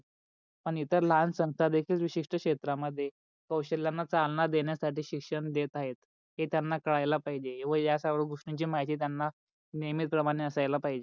पण इतर लहान संस्था देखील विशिष्ट क्षेत्रा मध्ये कौशल्यान चालना देण्यासाठी शिक्षण देत आहे. हे त्यांना कळाला पहिजे येवड या सर्व गोष्टीची माहिती त्यांना नेहमी प्रमाणे असायला पाहिजे.